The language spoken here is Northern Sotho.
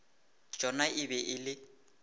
tšona e be e le